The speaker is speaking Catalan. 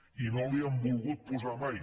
i no l’hi han volgut posar mai